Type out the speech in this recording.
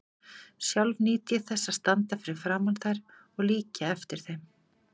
Sjálf nýt ég þess að standa fyrir framan þær og líkja eftir þeim.